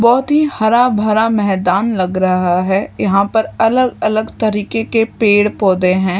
बहुत ही हरा भरा मैदान लग रहा है यहां पर अलग-अलग तरीके के पेड़-पौधे हैं।